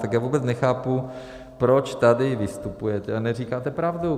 Tak já vůbec nechápu, proč tady vystupujete a neříkáte pravdu.